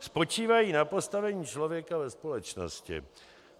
Spočívají na postavení člověka ve společnosti.